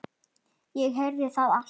Ég heyrði þetta allt.